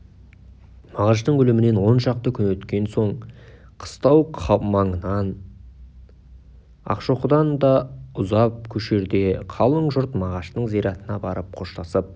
мағаштың өлімінен он шақты күн өткен соң қыстау маңынан ақшоқыдан ұзап көшерде қалың жұрт мағаштың зиратына барып қоштасып